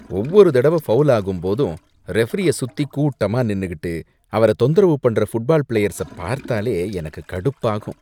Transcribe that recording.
ஒவ்வொரு தடவ ஃபௌல் ஆகும்போதும் ரெஃப்ரிய சுத்தி கூட்டமா நின்னுகிட்டு அவர தொந்தரவு பண்ற ஃபுட்பால் பிளேயர்ஸ பார்த்தாலே எனக்கு கடுப்பாகும்.